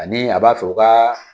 Ani a b'a fɛ u ka